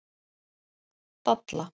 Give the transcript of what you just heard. Dalla